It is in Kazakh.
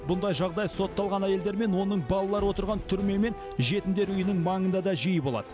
мұндай жағдай сотталған әйелдер мен оның балалары отырған түрме мен жетімдер үйінің маңында да жиі болады